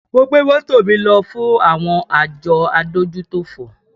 Mo gbé mọ́tò mi lọ fún àwọn àjọ adójútòfò